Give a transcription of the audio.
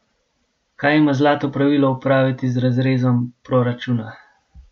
Kaj ima zlato pravilo opraviti z razrezom proračuna?